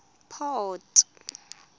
port